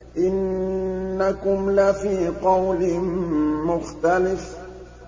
إِنَّكُمْ لَفِي قَوْلٍ مُّخْتَلِفٍ